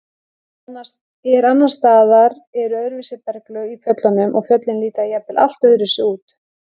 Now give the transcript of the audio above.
En annars staðar eru öðruvísi berglög í fjöllunum og fjöllin líta jafnvel allt öðruvísi út.